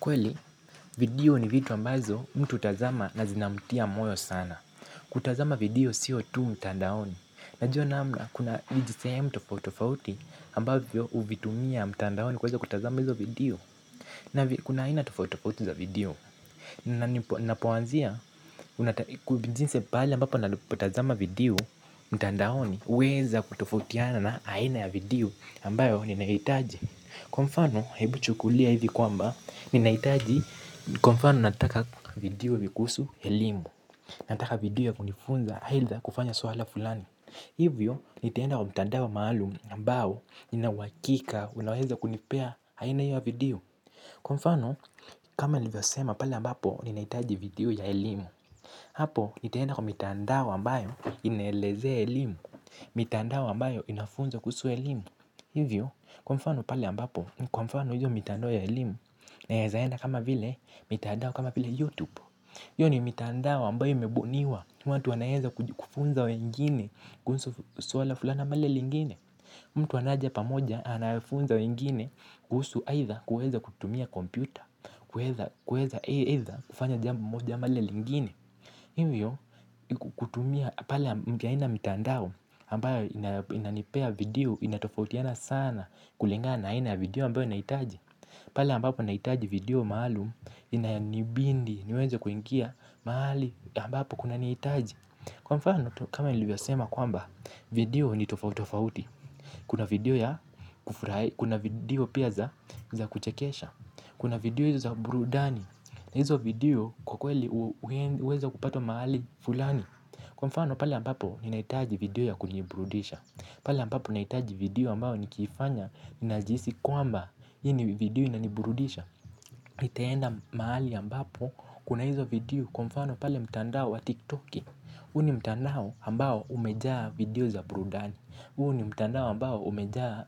Kweli video ni vitu ambazo mtu utazama na zinamtia moyo sana. Kutazama video siyo tu mtandaoni. Najuwa namna kuna vijisehemu tofauti tofauti ambavyo uvitumia mtandaoni kuweza kutazama hizo video. Na kuna aina tofauti tofauti za video. Napoanzia jinsi paali ambapo napotazama video mtandaoni uweza kutofautiana na aina ya video ambayo ninaitaji. Kwa mfano, hebu chukulia hivi kwamba, ninaitaji kwa mfano nataka video vikuusu elimu. Nataka video ya kunifunza, haidha kufanya swala fulani. Hivyo, nitaenda kwa mtandao maalum ambao, ninauakika, unaweza kunipea haina hio ya video. Kwa mfano, kama nivyosema pale ambapo, ninaitaji video ya elimu. Hapo, nitaenda kwa mitandao ambayo, inaelezea elimu mitandao ambayo, inafunza kuhusu elimu. Hivyo kwa mfano pale ambapo kwa mfano hiyo mitandao ya elimu naeza enda kama vile mitandao kama vile youtube hio ni mitandao ambayo imebuniwa watu wanaeza kufunza wengine kuhusu swala fulani ama lile lingine. Mtu anaja pamoja anafunza wengine kuhusu aidha kuweza kutumia kompyuta kuweza eidha kufanya jambo moja ama lile lingine. Hivyo kutumia pale mpya aina mitandao ambayo inanipea video inatofautiana sana kulingana na aina ya video ambayo naitaji. Pala ambapo naitaji video maalum inanibindi niweze kuingia maali ambapo kunaniitaji. Kwa mfano tu kama nilivyosema kwamba video ni tofauti tofauti. Kuna video ya kufurai, kuna video pia za kuchekesha. Kuna video hizo za burudani. Hizo video kwa kweli uweza kupata mahali fulani. Kwa mfano pale ambapo ninaitaji video ya kuniburudisha. Pale ambapo naitaji video ambao nikifanya ninajisi kwamba hii ni video inaniburudisha. Itaenda mahali ambapo kuna hizo video. Kwa mfano pale mtandao wa tiktoki. Huu ni mtandao ambao umejaa video za burudani. Huu ni mtandao ambao umejaa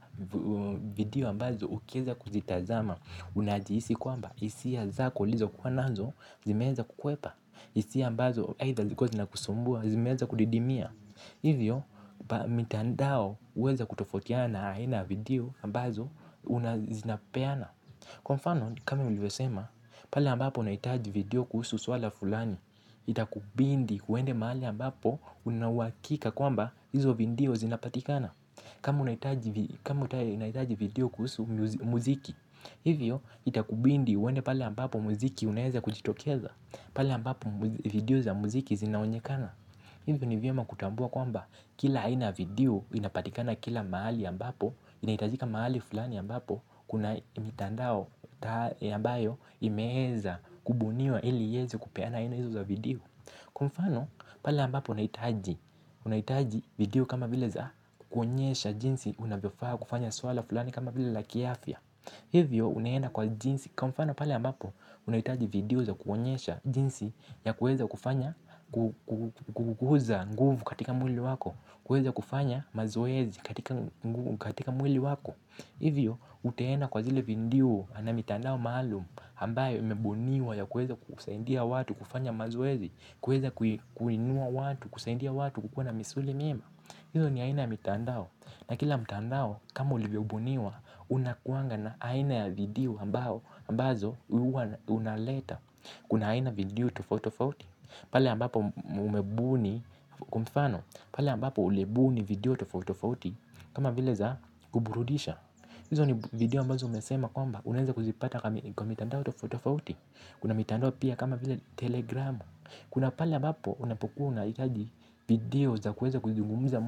video ambazo ukueza kuzitazama. Unajiisi kwamba, isia zako ulizokuwa nazo, zimeweza kukwepa. Isia ambazo, either zikuwa zinakusumbua, zimeeza kudidimia. Hivyo, mitandao uweza kutofautiana na aina ya video ambazo, zinapeana. Kwa mfano, kama ulivyosema, pale ambapo naitaji video kuhusu swala fulani. Itakubindi huende mahali ambapo una uwakika kwamba izo vindio zinapatikana. Kama unaitaji video kuhusu muziki. Hivyo itakubindi uende pale ambapo muziki unaeza kujitokeza. Pale ambapo video za muziki zinaonyekana. Hivyo ni vyema kutambua kwamba kila aina ya video inapatikana kila maali ambapo inahitajika maali fulani ambapo kuna mitandao yambayo imeeza kubuniwa ili iyeze kupeana aina izo za video. Kwa mfano pale ambapo unahitaji video kama vile za kuonyesha jinsi unavyofaa kufanya swala fulani kama vile la kiafya. Hivyo unaenda kwa jinsi kwa mfano pale ambapo unahitaji video za kuonyesha jinsi ya kuweza kufanya kuuza nguvu katika mwili wako kuweza kufanya mazoezi katika mwili wako. Hivyo utaenda kwa zile vindio na mitandao maalum ambayo imebuniwa ya kuweza kusaindia watu kufanya mazoezi. Kuweza kuinua watu kusaindia watu kukuwa na misuli mema. Hizo ni aina ya mitandao na kila mitandao kama ulivyobuniwa unakuanga na aina ya video ambazo unaleta. Kuna aina ya video tofauti tofauti pale ambapo mmebuni kwa mifano pale ambapo ulibuni video tofauti tofauti kama vile za kuburudisha. Hizo ni video ambazo umesema kwamba unaeza kuzipata kwa mitandao tofautofauti kuna mitandao pia kama vile telegramu. Kuna pala ambapo unapokuwa unaitaji video za kueza kuzungumuza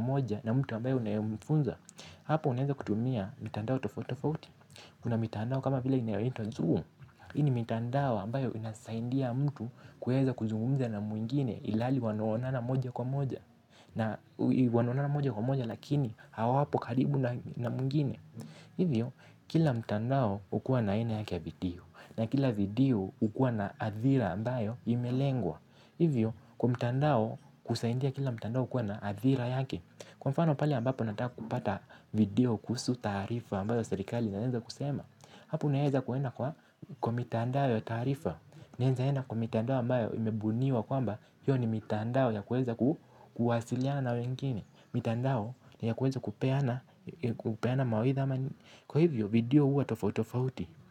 moja na mtu ambayo unayemfunza. Hapo unaeza kutumia mitandao tofautofauti. Kuna mitandao kama vila inayoitwa zoom hii ni mitandao ambayo inasaindia mtu kuweza kuzungumuza na mwingine ilhali wanaonana moja kwa moja. Na wanaonana moja kwa moja lakini hawapo karibu na mwingine. Hivyo, kila mtandao ukuwa na aina yake ya video. Na kila video ukuwa na adhira ambayo imelengwa. Hivyo kwa mtandao kusaindia kila mtandao kuwa na adhira yake. Kwa mfano pale ambapo nataka kupata video kuhusu taarifa ambayo serikali inaenza kusema. Hapo naeza kuenda kwa kwa mitandao ya tarifa. Naeza enda kwa mitandao ambayo imebuniwa kwamba hio ni mitandao ya kuweza kuwasiliana na wengine mitandao ya kuweza kupeana mawaidha. Kwa hivyo video huwa tofautofauti.